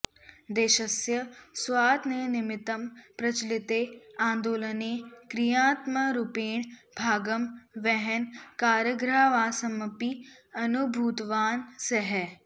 देशस्य स्वातन्त्र्यनिमित्तं प्रचलिते आन्दोलने क्रियात्मकरूपेण भागं वहन् कारागृहवासमपि अनुभूतवान् सः